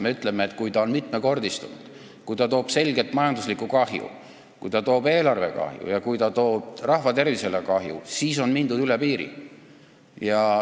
Me ütleme, et kui piirikaubandus on mitmekordistunud, kui ta toob selget majanduslikku kahju, kui ta toob eelarvele kahju ja kui ta toob rahva tervisele kahju, siis on mindud üle piiri.